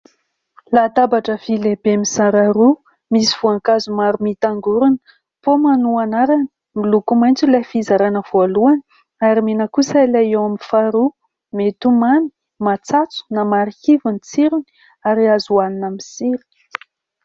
Latabatra vy lehibe mizara roa, misy voankazo maro mitangorona, paoma no anarany, miloko maitso ilay fizaràna voalohany ary mena kosa ilay eo amin'ny faharoa. Mety ho mamy, matsatso na marikivy ny tsirony ary azo ho hanina amin'ny sira.